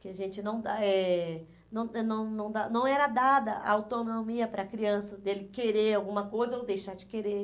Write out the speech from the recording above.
Que a gente não dá... Eh não não não dá não era dada a autonomia para a criança dele querer alguma coisa ou deixar de querer.